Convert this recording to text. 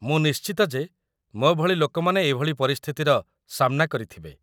ମୁଁ ନିଶ୍ଚିତ ଯେ ମୋ ଭଳି ଲୋକମାନେ ଏଇଭଳି ପରିସ୍ଥିତିର ସାମ୍ନା କରିଥିବେ ।